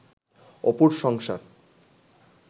অপুর সংসার